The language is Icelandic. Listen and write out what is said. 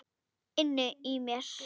Inni í mér.